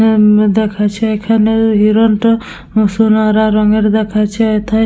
অ্যাম দেখাচ্ছে এখানে হিরনটা সোনার আ রঙের দেখাচ্ছে এথায়--